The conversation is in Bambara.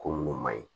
Ko munnu maɲi